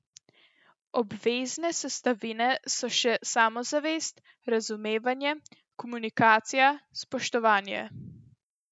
Obvezne sestavine so še samozavest, razumevanje, komunikacija, spoštovanje ...